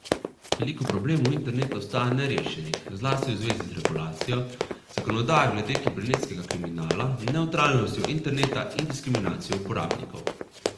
Veliko problemov interneta ostaja nerešenih, zlasti v zvezi z regulacijo, zakonodajo glede kibernetskega kriminala, nevtralnostjo interneta in diskriminacijo uporabnikov.